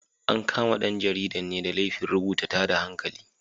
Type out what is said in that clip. An kama ɗan jaridan ne da laifin rubuta tada hankali.